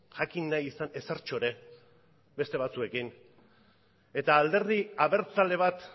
jakin nahi izan ezertxo ere beste batzuekin eta alderdi abertzale bat